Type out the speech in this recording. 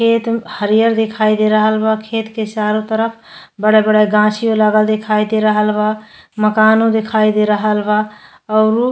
खेत म हरियर दिखाई दे रहा बा खेत के चारो तरफ बड़े-बड़े गाछी लगा दिखाई दे रहा बा मकानो दिखाई दे रहल बा औरु --